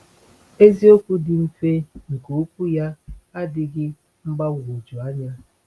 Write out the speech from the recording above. Eziokwu dị mfe nke Okwu ya adịghị mgbagwoju anya.